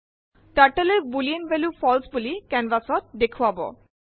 Turtleএ boolean value false বুলি canvas ত দেখোৱায়